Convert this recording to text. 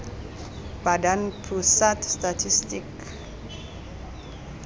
badan pusat statistik